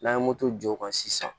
N'an ye moto jɔ o kan sisan